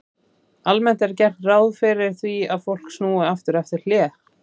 Almennt er gert ráð fyrir því að fólk snúi aftur eftir hlé.